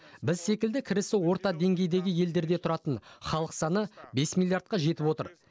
біз секілді кірісі орта деңгейдегі елдерде тұратын халық саны бес миллиардқа жетіп отыр